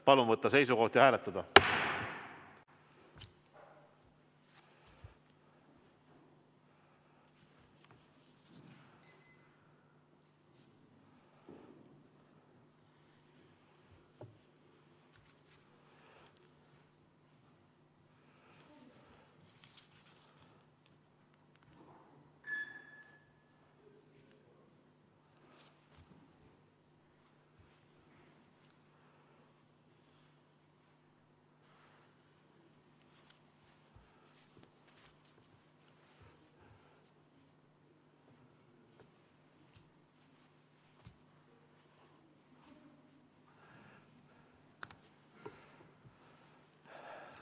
Palun võtta seisukoht ja hääletada!